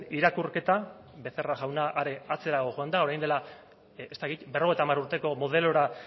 irakurketa becerra jauna are atzerago joan da orain dela ez dakit berrogeita hamar urteko modelora